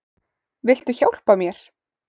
Viltu hjálpa mér?